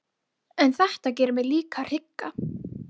En þetta gerir mig líka hrygga.